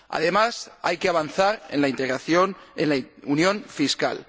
Además, hay que avanzar en la integración, en la unión fiscal.